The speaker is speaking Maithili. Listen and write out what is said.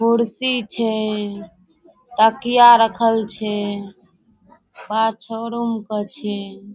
कुर्सी छै तकिया रखल छै पा छोरो मुका छै।